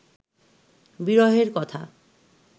বিরহের কথা